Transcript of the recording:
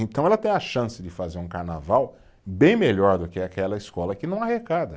Então ela tem a chance de fazer um carnaval bem melhor do que aquela escola que não arrecada.